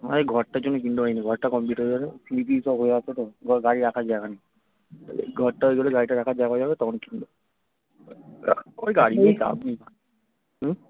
আরে ঘরটার জন্য কিনতে পারিনা ঘরটা complete হয়ে গেলে সিঁড়ি টিরী সব হয়ে আছে তো গাড়ি রাখার জায়গা নেই ঘরটা হয়ে গেলে গাড়িটা রাখার জায়গা হয়ে যাবে তখন কিনবো ওই গাড়ি নিয়ে চাপ নেই হম